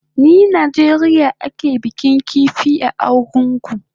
Ni Najeriya ake bikin kifi a Argungu